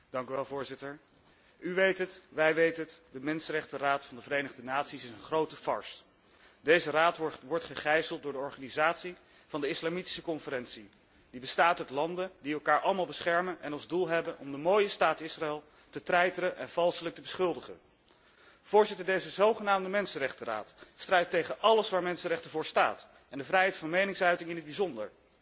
U weet het, wij weten het, de Raad voor de mensenrechten van de Verenigde Naties is een grote farce. Deze raad wordt gegijzeld door de organisatie van de Islamitische Conferentie, die bestaat uit landen die elkaar allemaal beschermen en als doel hebben om de mooie staat Israël te treiteren en valselijk te beschuldigen. Voorzitter, deze zogenaamde Raad voor de mensenrechten strijdt tegen alles waar mensenrechten voor staan en de vrijheid van meningsuiting in het bijzonder.